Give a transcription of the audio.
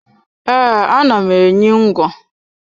E, ana m enyi ngwo